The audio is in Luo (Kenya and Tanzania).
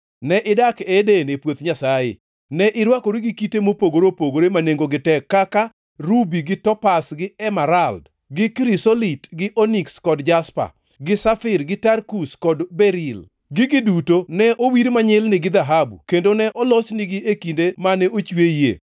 Ne idak e Eden, e puoth Nyasaye; ne irwakori gi kite mopogore opogore ma nengogi tek kaka: rubi, gi topaz, gi emerald, gi krisolit, gi oniks kod jaspa, gi safir, gi tarkus kod beril. Gigi duto ne owir manyilni gi dhahabu kendo ne olosnigi e kinde mane ochweyie.